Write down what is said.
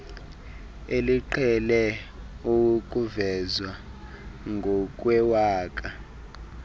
eliqhele ukuvezwa ngokwewaka